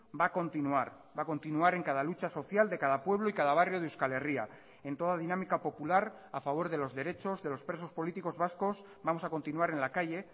va a continuar va a continuar en cada lucha social de cada pueblo y cada barrio de euskal herria en toda dinámica popular a favor de los derechos de los presos políticos vascos vamos a continuar en la calle